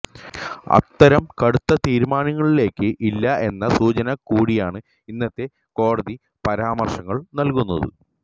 അത്തരം കടുത്ത തീരുമാനങ്ങളിലേക്ക് ഇല്ല എന്ന സൂചന കൂടിയാണ് ഇന്നത്തെ കോടതി പരാമർശങ്ങൾ നൽകുന്നത്